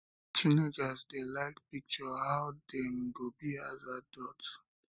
teenagers de like picture how um dem go be as adults